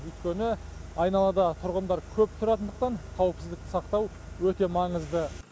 өйткені айналада тұрғындар көп тұратындықтан қауіпсіздікті сақтау өте маңызды